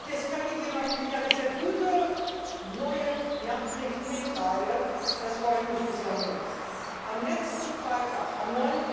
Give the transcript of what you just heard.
Jetzt kann ich eigentlich eine sehr gute Nachricht übermiteln, und das freut mich besonders. Am letzten Freitag, dem